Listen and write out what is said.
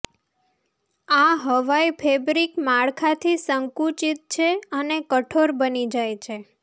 આ હવાઈ ફેબ્રિક માળખાથી સંકુચિત છે અને કઠોર બની જાય છે